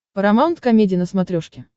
парамаунт комеди на смотрешке